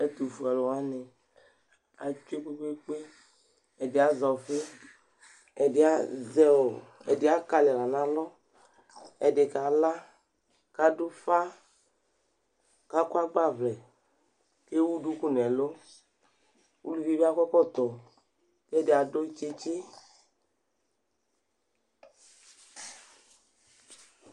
Ɛtʋfuealʋ wanɩ atsue kpekpekpe : ɛdɩ azɛ ɔfɩ , ɛdɩ azɛ ɔɔ ɛdɩ akalɩ aɣla nʋ ɛdɩ kala , k'adʋfa , k'akɔ agbavlɛ , k'ewu duku n'ɛlʋ ; uluvidi akɔ ɛkɔtɔ , k'ɛdɩ adʋ tsitsi